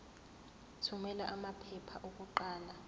thumela amaphepha okuqala